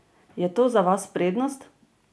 Je to za vas prednost?